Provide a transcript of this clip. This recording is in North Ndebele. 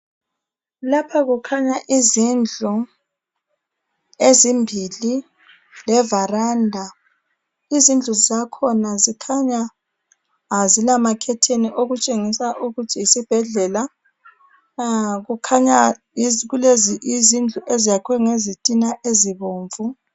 Lapha kukhanya izindlu ezimbili levaranda. Izindlu zakhona zikhanya azilamakhetheni okutshengisa ukuthi yisibhedela. Kukhanya yizindlu eziyakhwe ngezitina ezibomvu.